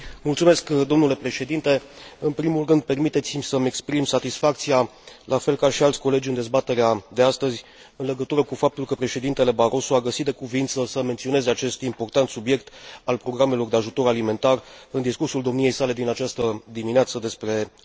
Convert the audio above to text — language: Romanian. În primul rând, permiteți mi să mi exprim satisfacția, la fel ca și alți colegi în dezbaterea de astăzi, în legătură cu faptul că președintele Barroso a găsit de cuviință să menționeze acest important subiect al programelor de ajutor alimentar în discursul domniei sale din această dimineață despre starea Uniunii.